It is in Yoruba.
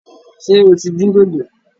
Ṣé o tí dín dòdò?